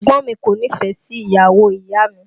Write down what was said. Ẹ̀gbọ́n mi kò nífẹ̀ẹ́ sí ìyàwó ìyá mi